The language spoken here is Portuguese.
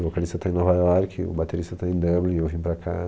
O vocalista tá em Nova York, o baterista tá em Dublin, eu vim para cá.